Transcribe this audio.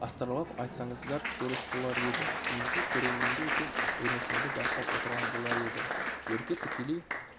астарлап айтсаңыздар дұрыс болар еді негізі көрермендер де ренішімді байқап отырған болар деді ерке тікелей